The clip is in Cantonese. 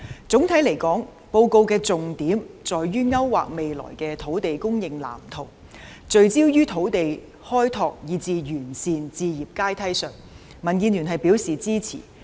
總體來說，報告的重點在於勾劃未來的土地供應藍圖，聚焦於土地開拓以至完善置業階梯，民建聯表示支持。